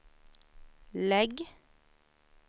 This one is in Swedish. lägg